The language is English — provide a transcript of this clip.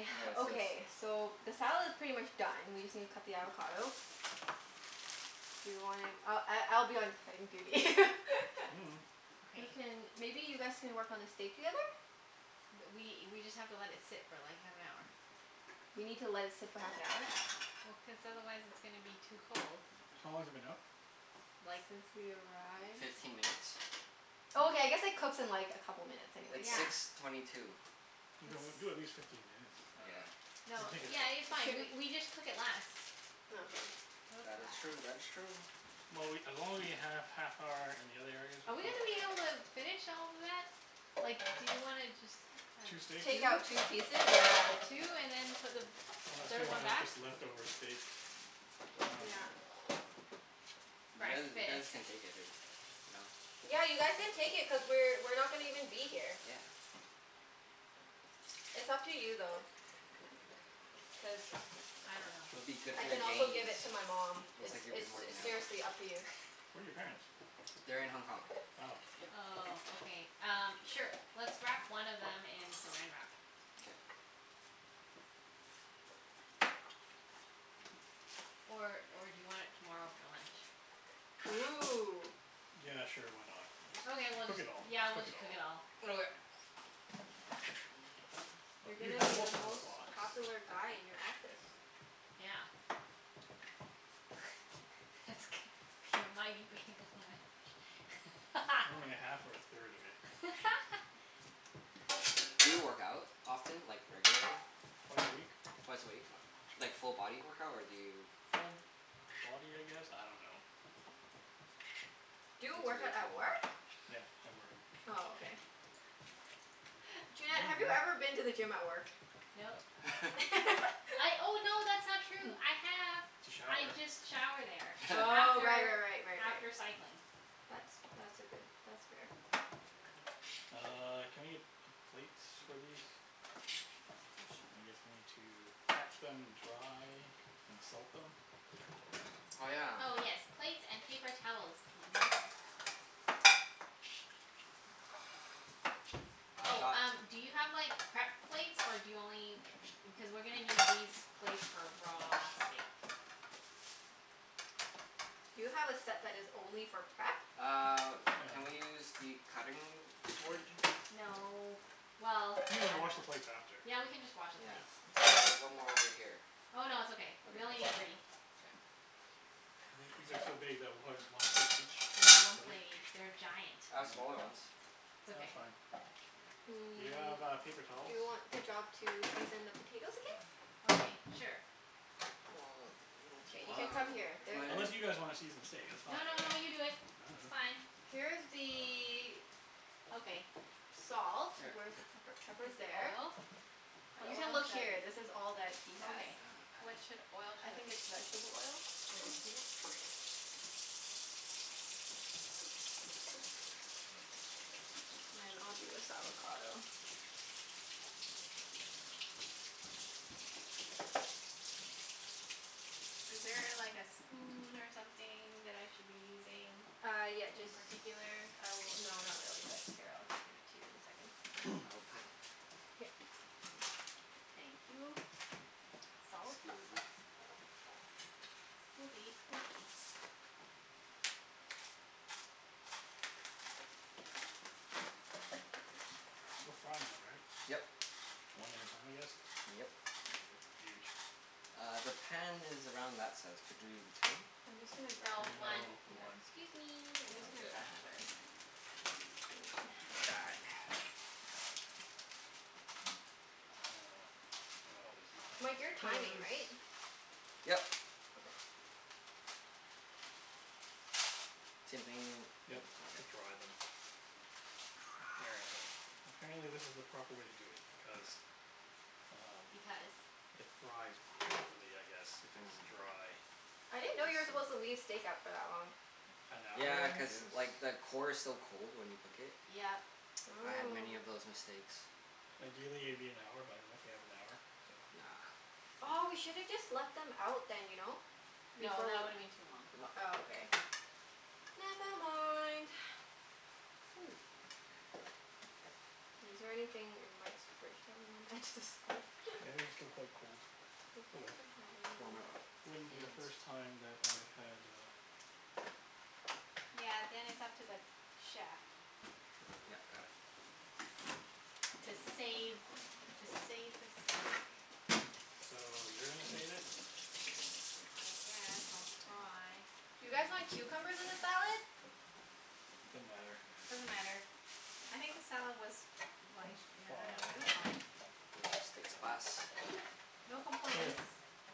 Okay. Is this Okay, so the salad's pretty much done, we just need to cut the avocado. Do you wanna, I I I'll be on cutting duty. Mm. Who Okay. can, maybe you guys can work on the steak together? Th- we we just have to let it sit for like, half an hour. We need to let it sit for half an hour. Well, cuz otherwise it's gonna be too cold. How long has it been out? Like Since we arrived. Fifteen minutes. Oh, okay, Oh. I guess it cooks in like a couple minutes anyways, It's so six Yeah. it's twenty two. Okay, well It's do at least fifteen minutes. I Yeah. dunno. Then No, take it yeah, it's out. It fine. We shouldn't we just cook it less. Oh okay. Cook That is less. true. That is true. Well, we, as long as we have half hour in the other areas Are we're we fine, gonna be right? able to finish all of that? Like, do you wanna just have Two steaks? Take out two? two pieces? Yeah. Two, and then put the Unless we third one wanna back? just leftover steak. I dunno. Yeah. You guys, you guys Breakfast. can take it if, you know? Yeah, you guys can take it cuz we're we're not gonna even be here. Yeah. It's up to you though. Cuz I don't know. It'll be good I for your can also give gains. it to my mom. Looks It's like you've been it's s- working out. seriously up to you. Where are your parents? They're in Hong Kong. Oh. Yeah. Oh, okay. Um, sure. Let's wrap one of them in Saran Wrap. K. Or or do you want it tomorrow for lunch? Ooh. Yeah, sure. Why not? Just Okay, we'll cook just, it all. yeah, we'll Cook it just cook all. it all. Okay. Oh You're you gonna ha- be the also have a most box. popular guy in your office. Yeah. That's gonna be a mighty big lunch. Only a half or a third of it. Do you work out often? Like, regularly? Twice a week. Twice a week? U- like full body workout, or do you Full body, I guess? I don't know. Do He's you work out very at toned. work? Yeah, at work. Oh, okay. Junette, have you ever Mm. been to the gym at work? Nope. I, oh no, that's not true. I have. To shower. I just shower there Oh, right after right right right right. after cycling. That's that's a good, that's fair. Uh, can I get p- plates for these? Yeah, su- I guess we need to pat them dry. And salt them? Oh yeah. Oh yes, plates and paper towels please. Which I've Oh, one? got um do you have like, prep plates? Or do you only u- cuz we're gonna need these plates for raw steak. Do you have a set that is only for prep? Uh, No. can we use the cutting board? No. Well, We can I don't wash know. the plates after. Yeah, we can just wash the Yeah. plates. It's There's one more over here. Oh no, it's okay. Okay, We only that's need all? three. K. I think these are so big that we'll probably just one steak There's each one plate? plate each. They're giant. I Yeah. have smaller ones. It's No, that's okay. fine. Do you Mm, have uh, paper do towels? you want the job to season the potatoes again? Okay, sure. K, you Well can come here. There, this is Where's my Unless you the guys wanna season the steak. That's fine. No no no, you do it. I It's dunno. fine. Here's I dunno. the Okay. salt. Here. Where's the pepper? Pepper's First the there. oil. But You can oil look here. This is all that he has. Okay. What should, oil I should think I it's vegetable oil. Okay. Peanut. And then I'll do this avocado. Is there a like a spoon or something that I should be using? Uh, yeah. In Jus- particular? I will, no, not really but here, I'll give it to you in a second. Okay. I will cut it. Here. Thank you. Salt? Scusi. Scusi, scusi. We're frying them, right? Yep. One at a time, I guess? Yep. They're huge. Uh, the pan is around that size. Could you two? I'm just gonna grab No, another one. No, Okay. one. Excuse me. I'm just Sounds gonna good. grab another spoon. Die. Uh, I might as well just use my Mike, you're hands timing, because right? Yep. Okay. Same thing? Yep, E- okay. to dry them. Apparently Dry. apparently this is the proper way to do it because um Because it fries properly, I guess, if it's Oh. dry. I I didn't know you were supposed see. to leave steak out for that long. An hour Yeah, cuz like the core is so cold when you cook it. Yep. I had many Oh. of those mistakes. Ideally it'd be an hour, but I don't know if we have an hour, so Nah. Aw, we No. should have just left them out then, you know? No, Before that w- would've been too long. No. Oh, okay. Never mind. Ooh. Is there anything in Mike's fridge that we wanna add to the salad? Yeah, these are still quite cold. Does Oh he well. even have Warm any it up with Wouldn't my be the first hands. time that I had a Yeah, then it's up to the chef. Sure, Yep. Got it. oh okay. To save Uh to save the steak. So, you're gonna save it? I guess I'll try. Do you guys want cucumbers in the salad? Doesn't matter. Doesn't matter. I think the salad was like, Looks i- I do- it was fine. fine. Where's your steak spice? No Here. complaints.